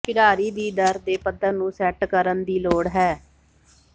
ਖਿਡਾਰੀ ਦੀ ਦਰ ਦੇ ਪੱਧਰ ਨੂੰ ਸੈੱਟ ਕਰਨ ਦੀ ਲੋੜ ਹੈ